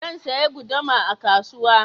Zan saya guduma a kasuwa